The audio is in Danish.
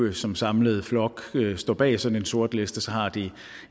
eu som samlet flok står bag sådan en sortliste har det